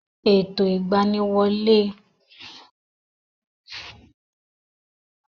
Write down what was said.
Ètò ìgbaniwọlé àwọn ikọ̀ ológun alawọ̀-búúlù ilẹ̀ Nàìjíríyà máa n wáyé ní ẹ̀ẹ̀kan lọ́ dún.